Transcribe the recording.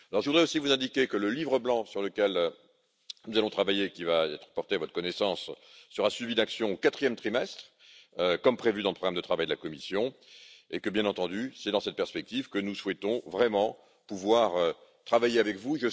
Je voudrais aussi vous indiquer que le livre blanc sur lequel nous allons travailler, qui va être porté à votre connaissance, sera suivi d'actions au quatrième trimestre, comme prévu dans le programme de travail de la Commission, et que, bien entendu, c'est dans cette perspective que nous souhaitons vraiment pouvoir travailler avec vous.